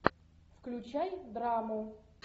включай драму